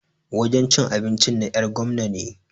Wajen cin abincin na 'yar gwamna ne.